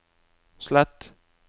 slett